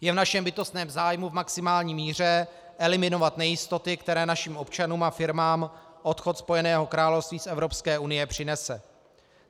Je v našem bytostném zájmu v maximální míře eliminovat nejistoty, které našim občanům a firmám odchod Spojeného království z Evropské unie přinese.